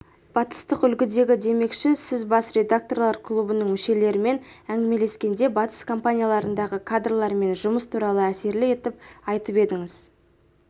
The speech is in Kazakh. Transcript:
батыстық үлгідегі демекші сіз бас редакторлар клубының мүшелерімен әңгімелескенде батыс компанияларындағы кадрлармен жұмыс туралы әсерлі етіп айтып едіңіз